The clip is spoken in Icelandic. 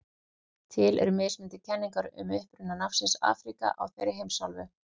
Til eru mismunandi kenningar um uppruna nafnsins Afríka á þeirri heimsálfu.